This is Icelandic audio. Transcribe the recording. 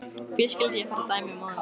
Hví skyldi ég fara að dæmi móður minnar?